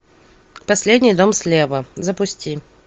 последний дом слева запусти